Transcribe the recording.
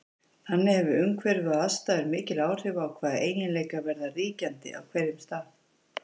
Þannig hefur umhverfi og aðstæður mikil áhrif á hvaða eiginleikar verða ríkjandi á hverjum stað.